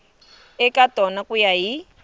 eka tona ku ya hi